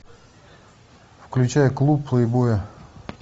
включай клуб плейбоя